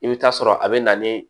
I bɛ taa sɔrɔ a bɛ na ni